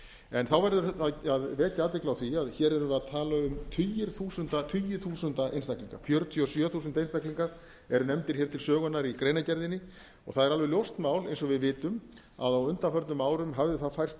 en þá verður að vekja athygli á því að hér erum við að tala um tugi þúsunda einstaklinga fjörutíu og sjö þúsund einstaklingar eru nefndir hér til sögunnar í greinargerðinni og það er alveg ljóst mál eins og við vitum að á undanförnum árum hafði það færst í vöxt að